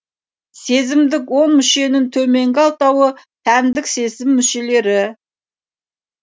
сезімдік он мүшенің төменгі алтауы тәндік сезім мүшелері